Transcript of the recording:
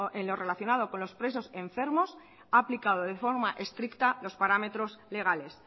en lo relacionado con los presos enfermos ha aplicado de forma estricta los parámetros legales